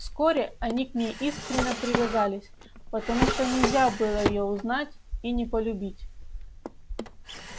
вскоре они к ней искренно привязались потому что нельзя было её узнать и не полюбить